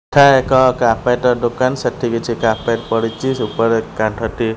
ଠା ଏକ କାରପେଟ୍ ର ଦୋକାନ ସେଠି କିଛି କାରପେଟ୍ ପଡ଼ିଚି ସେ ଉପରେ କନ୍ଥଟି--